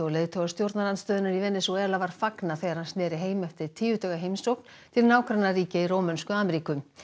leiðtoga stjórnarandstöðunnar í Venesúela var fagnað þegar hann sneri heim eftir tíu daga heimsókn til nágrannaríkja í Rómönsku Ameríku